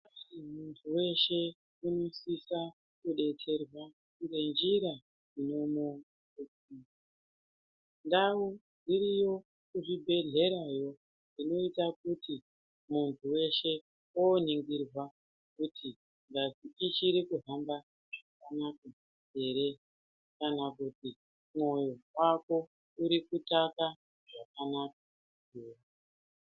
Muntu weshe unosise kudetserwa ngenjira inomudetsera ndau iriyo kuzvibhedhlerayo inoita kuti muntu weshe oningirwa kuti ngazi ichiri kuhamba zvakanaka ere kana kuti mwoyo wako uri kutaka zvakanaka ere.